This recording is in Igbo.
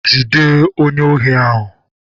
Jide onye ohi ahu!